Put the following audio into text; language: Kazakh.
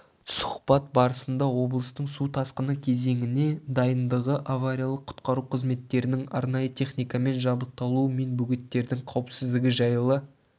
сұхбат барысында облыстың су тасқыны кезеңіне дайындығы авариялық-құтқару қызметтерінің арнайы техникамен жабдықталуы мен бөгеттердің қауіпсіздігі жайлы